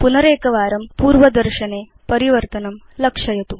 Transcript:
पुनरेकवारं पूर्वदर्शनक्षेत्रस्थं परिवर्तनं लक्षयतु